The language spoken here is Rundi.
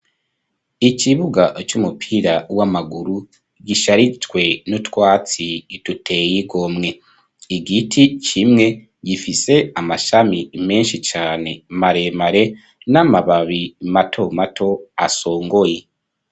Ikibuga c'umupira w'amaguru gisharijwe n'utwatsi duteye igomwe. Igiti kimwe gifise amashami menshi cane maremare, n'amababi mato mato asongoye.